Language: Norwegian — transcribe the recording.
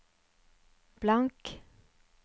blank